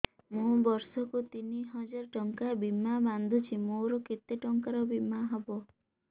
ମୁ ବର୍ଷ କୁ ତିନି ହଜାର ଟଙ୍କା ବୀମା ବାନ୍ଧୁଛି ମୋର କେତେ ଟଙ୍କାର ବୀମା ହବ